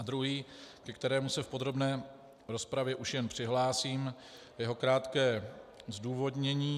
A druhý, ke kterému se v podrobné rozpravě už jen přihlásím, jeho krátké zdůvodnění.